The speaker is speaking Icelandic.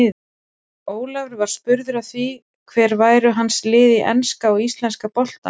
Ólafur var spurður að því hver væru hans lið í enska og íslenska boltanum.